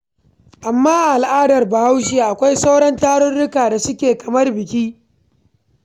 Amma a al'adar Bahaushe akwai sauran tarurrukan da suke kamar biki.